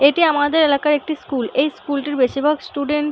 এটি আমাদের এলাকার একটি স্কুল এই স্কুল -টির বেশিরভাগ স্টুডেন্ট --